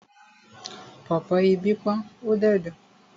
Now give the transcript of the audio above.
Pọ̀pọ́ ibí pọ́n ó dẹ̀ dùn.